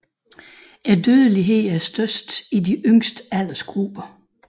Dødeligheden er størst i de yngste aldersgrupper